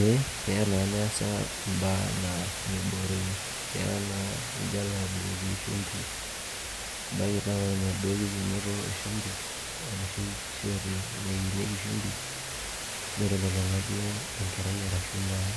Ee keya naa neesa imbaa naa meibooroyu keya na nijo alo abukoki shumbi ebaiki naa ore enaduo kikenoto e shumbi ara naa esiote naikenieki shumbi neitololong'a duo enkerai arashu naa